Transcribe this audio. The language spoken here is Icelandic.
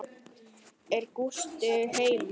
Er Gústi heima?